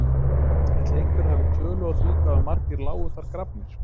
Ætli einhver hafi tölu á því hvað margir lágu þar grafnir?